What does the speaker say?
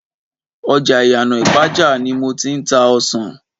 ọjà Iyana ipaja ni mo ti ń ta ọsàn.